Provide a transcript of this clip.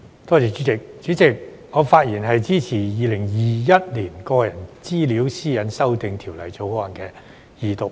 主席，我發言支持《2021年個人資料條例草案》二讀。